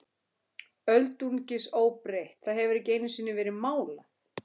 Öldungis óbreytt, það hefur ekki einusinni verið málað.